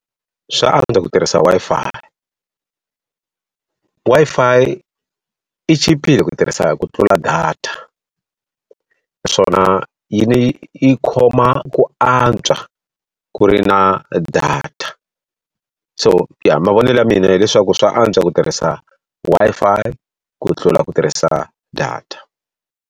Swa antswa ku tirhisa Wi-Fi. Wi-Fi yi chipile ku tirhisa ku tlula data, naswona yi ndzi yi khoma ku antswa ku ri na data. So ya mavonelo ya mina hileswaku swa antswa ku tirhisa Wi-Fi ku tlula ku tirhisa data.